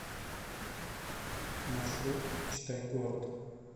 маршрут читай город